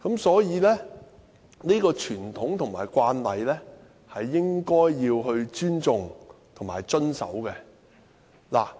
所以，這個傳統和慣例應該要尊重和遵守。